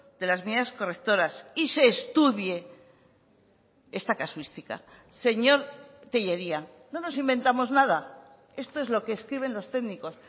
de las medidas correctoras y se estudie esta casuística señor tellería no nos inventamos nada esto es lo que escriben los técnicos